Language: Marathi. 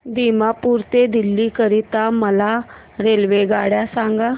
दिमापूर ते दिल्ली करीता मला रेल्वेगाडी सांगा